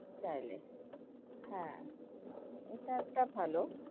চাইলে হ্যাঁ এটা একটা ভালো।